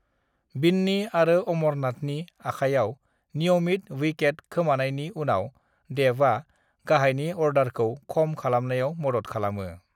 बिन्नी आरो अमरनाथनि आखाइयाव नियमित विकेट खोमानायनि उनाव देवआ गाहायनि अर्डारखौ खम खालामनायाव मदद खालामो।